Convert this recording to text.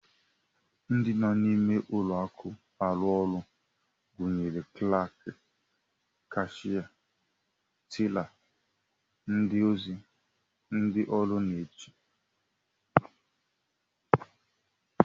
Ndị nọ n'ime ụlọakụ arụ ọrụ gụnyere klaak, kashịa, tela, ndị ozi, ndị ọrụ nche